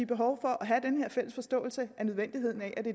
behov for at have den her fælles forståelse af nødvendigheden af at det